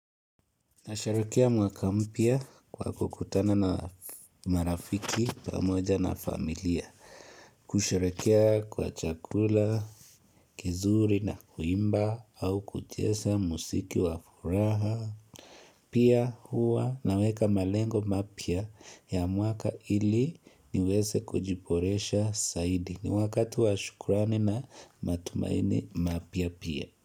Nasherehekea mwaka mpya kwa kukutana na marafiki pamoja na familia kusherehekea kwa chakula kizuri na kuimba au kucheza muziki wa furaha Pia huwa naweka malengo mapya ya mwaka ili niweze kujiboresha zaidi, ni wakati wa shukrani na matumaini mapya pia.